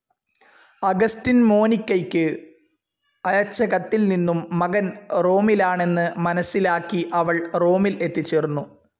Augustine മോനിക്കയ്ക്ക് അയച്ചകത്തിൽ നിന്നും മകൻ റോമിലാണെന്ന് മനസ്സിലാക്കി അവൾ റോമിൽ എത്തിച്ചേർന്നു.